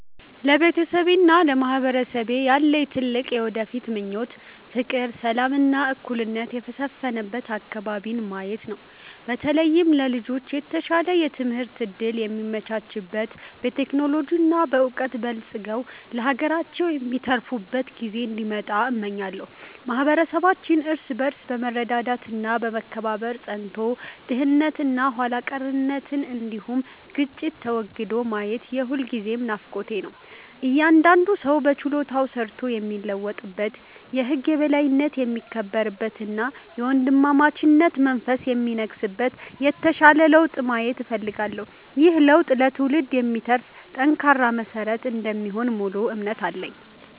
ለቤተሰቤና ለማህበረሰቤ ያለኝ ትልቁ የወደፊት ምኞት ፍቅር፣ ሰላም እና እኩልነት የሰፈነበት አከባቢን ማየት ነው። በተለይም ለልጆች የተሻለ የትምህርት እድል የሚመቻችበት፣ በቴክኖሎጂ እና በዕውቀት በልጽገው ለሀገራቸው የሚተርፉበት ጊዜ እንዲመጣ እመኛለሁ። ማህበረሰባችን እርስ በርስ በመረዳዳት እና በመከባበር ጸንቶ፣ ድህነት እና ኋላ ቀርነት እንዲሁም ግጭት ተወግዶ ማየት የሁልጊዜም ናፍቆቴ ነው። እያንዳንዱ ሰው በችሎታው ሰርቶ የሚለወጥበት፣ የህግ የበላይነት የሚከበርበት እና የወንድማማችነት መንፈስ የሚነግስበት የተሻለ ለውጥ ማየት እፈልጋለሁ። ይህ ለውጥ ለትውልድ የሚተርፍ ጠንካራ መሰረት እንደሚሆን ሙሉ እምነት አለኝ።